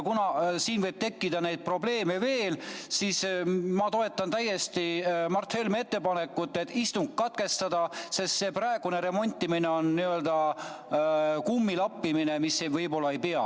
Kuna siin võib neid probleeme veel tekkida, siis ma toetan Mart Helme ettepanekut istung katkestada, sest see praegune remontimine on n-ö kummi lappimine, mis võib-olla ei pea.